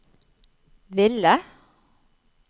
ville